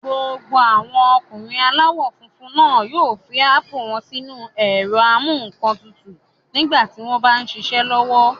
Gbogbo àwọn ọkùnrin aláwọ̀ funfun náà yóò fi ápù wọ́n sínu ẹ̀rọ-amúǹkantutù nígbà tí wọ́n m bá ṣiṣẹ́ lọ́wọ́